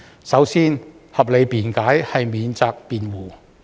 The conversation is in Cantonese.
首先，合理辯解是免責辯護。